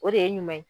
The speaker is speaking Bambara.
O de ye ɲuman ye